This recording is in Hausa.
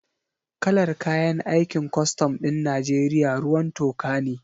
Kalar kayan aikin kwastam ɗin Najeriya ruwan toka ne